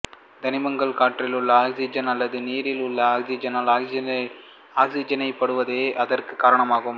தனிமங்கள் காற்றில் உள்ள ஆக்சிசன் அல்லது நீரில் உள்ள ஆக்சிசனால் ஆக்சிசனேற்றப்படுவதே இதற்கு காரணமாகும்